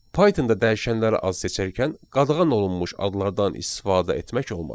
Pythonda dəyişənləri az seçərkən qadağan olunmuş adlardan istifadə etmək olmaz.